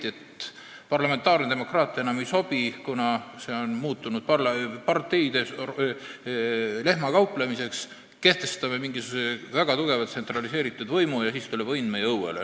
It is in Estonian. Siis leiti, et parlamentaarne demokraatia enam ei sobi, kuna see on muutunud parteide lehmakauplemiseks, et kehtestame mingisuguse väga tugevalt tsentraliseeritud võimu ja siis tuleb õnn meie õuele.